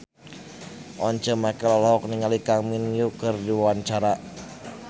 Once Mekel olohok ningali Kang Min Hyuk keur diwawancara